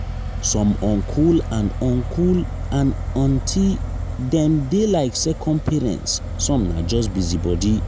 some uncle and uncle and aunty dem dey like second parents some na just busybody.